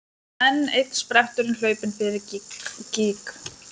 Enn einn spretturinn hlaupinn fyrir gíg.